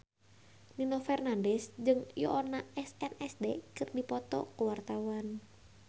Nino Fernandez jeung Yoona SNSD keur dipoto ku wartawan